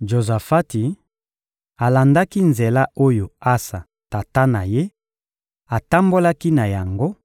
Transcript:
Jozafati alandaki nzela oyo Asa, tata na ye, atambolaki na yango;